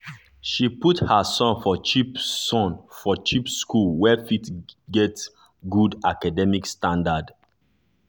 she put her son for cheap son for cheap school wey still get good academic standard.